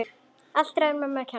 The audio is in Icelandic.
Allt ræðu mömmu að kenna!